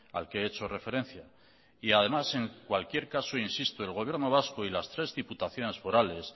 al que he hecho referencia y además en cualquier caso insisto el gobierno vasco y las tres diputaciones forales